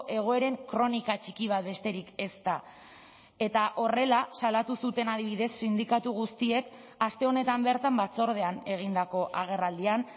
egoeren kronika txiki bat besterik ez da eta horrela salatu zuten adibidez sindikatu guztiek aste honetan bertan batzordean egindako agerraldian